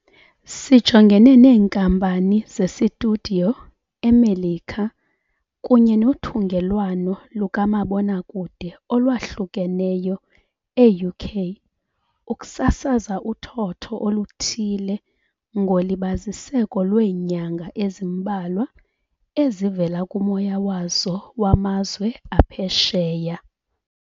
Sijongene neenkampani zesitudiyo eMelika kunye nothungelwano lukamabonakude olwahlukeneyo e-UK ukusasaza uthotho oluthile ngolibaziseko lweenyanga ezimbalwa ezivela kumoya wazo wamazwe aphesheya.